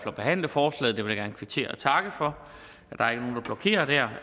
at behandle forslaget og jeg vil gerne kvittere og takke for